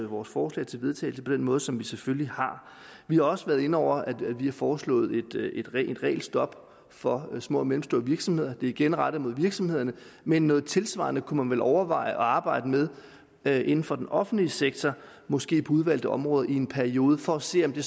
vores forslag til vedtagelse på den måde som vi selvfølgelig har vi har også været inde over at vi har foreslået et regelstop for små og mellemstore virksomheder det er igen rettet mod virksomhederne men noget tilsvarende kunne man vel overveje at arbejde med med inden for den offentlige sektor måske på udvalgte områder i en periode for at se om det